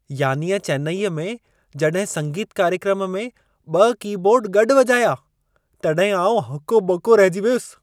यानीअ चैन्नईअ में जॾहिं संगीत कार्यक्रम में 2 की-बोर्ड गॾु वॼाया, तॾहिं आउं हको ॿको रहिजी वियसि।